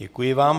Děkuji vám.